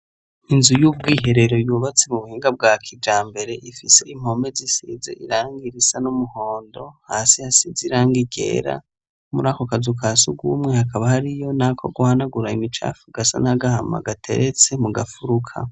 Inzu y'ubwiherero yubatse mu buhinga bwa kijambere ,ifise impome zisize irangi risa n'umuhondo ,hasi hasize irangi ryera. Muri ako kazu ka sugwumwe hakaba hariyo nako guhanagura imicafu gasa n'agahama gateretse mu gafuruka.